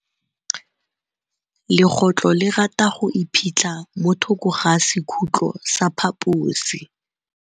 Legôtlô le rata go iphitlha mo thokô ga sekhutlo sa phaposi.